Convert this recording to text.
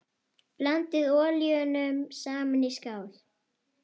Blandið olíunum saman í skál.